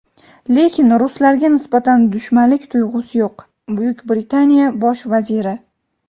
lekin ruslarga nisbatan dushmanlik tuyg‘usi yo‘q – Britaniya Bosh vaziri.